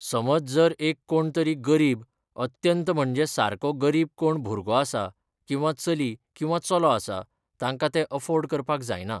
समज जर एक कोण तरी गरीब अत्यंत म्हणजे सारको गरीब कोण भुरगो आसा किंवा चली किंवा चलो आसा, तांकां ते अफोर्ड करपाक जायना.